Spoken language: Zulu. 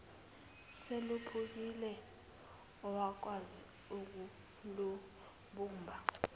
seluphukile awukwazi ukulubumba